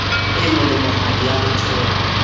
e molemohadi ya ho theola